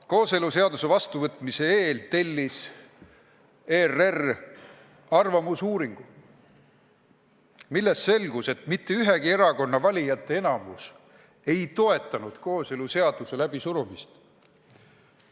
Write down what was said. Kooseluseaduse vastuvõtmise eel tellis ERR arvamusuuringu, millest selgus, et mitte ühegi erakonna valijate enamik ei toetanud kooseluseaduse läbisurumist.